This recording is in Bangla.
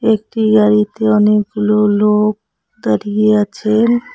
একটি গাড়িতে অনেকগুলো লোক দাঁড়িয়ে আছেন।